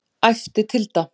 æpti Tilda.